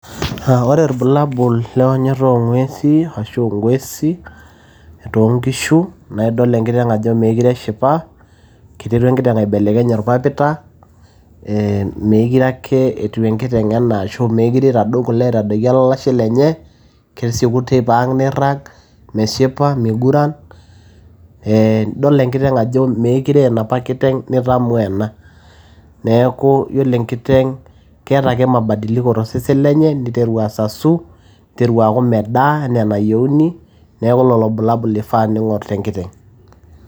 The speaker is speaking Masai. aa ore irbulabul leonyoto oong'uesi ashu ingosi toonkishu naa idol enkiteng ajo meekire eshipa iterua enkiteng aibelekeny orpapita ee meekire ake etiu enkiteng enaa ashu meekire itadou kule aitadoiki olashe lenye kesieku teipa ang neirrag meshipa miguran, ee idol enkiteng ajo meekire aa enapa kiteng nitamoo ena neeku yiolo enkiteng keeta ake mabadiliko tosesen lenye niteru asasu niteru aaku medaa enaa enayieuni neeku lolo bulabul ifaa ning'orr tenkiteng.